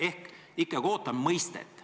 Ehk ikkagi ootame mõistet.